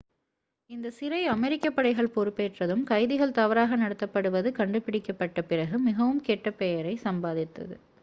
இந்தச் சிறை அமெரிக்க படைகள் பொறுப்பேற்றதும் கைதிகள் தவறாக நடத்தப்படுவது கண்டுபிடிக்கப்பட்ட பிறகு மிகவும் கெட்ட பெயரை சம்பாதித்தது